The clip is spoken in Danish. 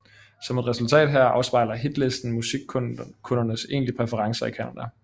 Som et resultat heraf afspejler hitlisten musikkundernes egentlig præferencer i Canada